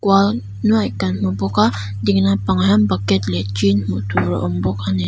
kan hmu bawk a dinglam pangah hian bucket leh tin hmuh tur a awm bawk ani.